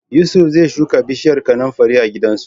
Yusuf zai shuka bishiyar kanunfari a gidansu.